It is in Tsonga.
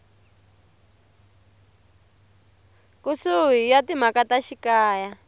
kusuhi ya timhaka ta xikaya